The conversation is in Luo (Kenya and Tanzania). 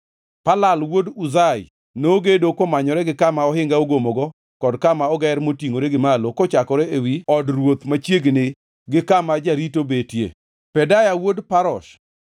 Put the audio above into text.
Palal wuod Uzai nogedo komanyore gi kama ohinga ogomogo kod kama oger motingʼore gi malo kochakore ewi od ruoth machiegni gi kama jarito betie. Pedaya wuod Parosh,